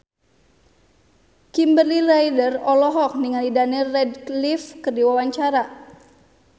Kimberly Ryder olohok ningali Daniel Radcliffe keur diwawancara